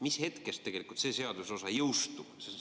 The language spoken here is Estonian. Mis hetkest see seaduseosa jõustub?